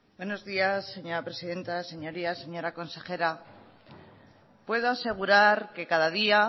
buenos días señora presidenta señorías señora consejera puedo asegurar que cada día